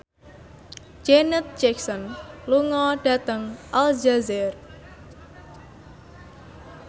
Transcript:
Janet Jackson lunga dhateng Aljazair